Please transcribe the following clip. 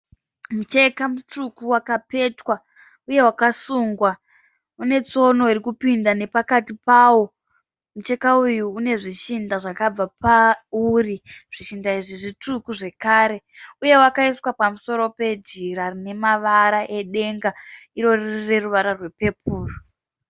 Mucheka mutsvuku wakapetwa uye wakasungwa une tsono irikupinda nepakati pawo . Mucheka uyu une zvishinda zvakabva pauri zvishinda izvi zvitsvuku zvekare , uye wakaiswa pamusoro pe jira rine mavara e denga iro riine ruvara rwe pepuru.